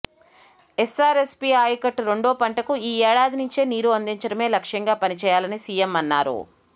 SRSP ఆయకట్టు రెండో పంటకు ఈ ఏడాది నుంచే నీరు అందించడమే లక్ష్యంగా పనిచేయాలని సీఎం అన్నారు